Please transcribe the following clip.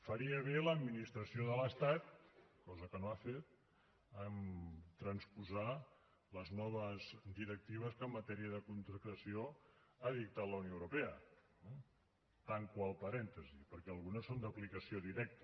faria bé l’administració de l’estat cosa que no ha fet a transposar les noves directives que en matèria de contractació ha dictat la unió europea tanco el parèntesi perquè algunes són d’aplicació directa